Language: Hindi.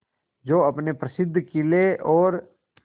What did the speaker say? जो अपने प्रसिद्ध किले और